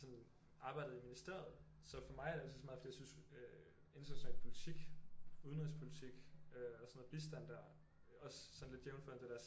Sådan arbejdet i ministeriet så for mig er det lige så meget fordi jeg synes international politik udenrigspolitik øh og sådan noget bistand der også sådan lidt jævnført det der